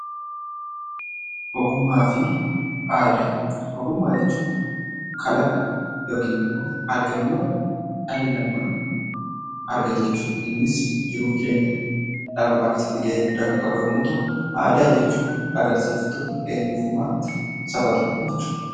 Ogummaa fi aadaa. Ogummaa jechuun kalaqa yookinimmoo argannoo dhalli namaa argate jechuudha. Innis jiruuf jireenya dhala namaa keessatti gahee guddaa kan qabu yommuu ta'u, aadaa jechuun agarsiiftuu eenyummaa saba tokkoo jechuudha.